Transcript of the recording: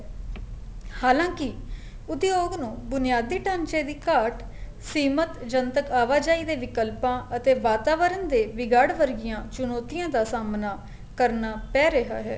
ਹਾਲਾ ਕੀ ਉਦਯੋਗ ਨੂੰ ਬੁਨਿਆਦੀ ਟਾਂਚੇ ਦੀ ਘਾਟ ਸੀਮਤ ਜਨਤਕ ਆਵਾਜਾਈ ਦੇ ਵਿਲਕਲਪਾ ਅਤੇ ਵਾਤਾਵਰਨ ਦੇ ਵਿਗਾੜ ਵਰਗੀਆਂ ਚਾਨੋਤੀਆਂ ਦਾ ਸਾਹਮਣਾ ਕਰਨਾ ਪੈ ਰਿਹਾ ਹੈ